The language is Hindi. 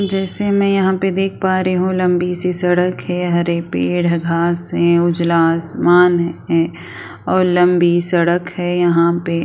जैसे मैं यहाँ पे देख पा रही हूँ लम्बी सी सड़क है हरे पेड़ घास है उजला आसमान है और लम्बी सड़क है यहाँ पे--